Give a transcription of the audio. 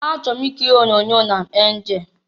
Achọrọ m ikiri onyoonyo ndị Nam Anjel.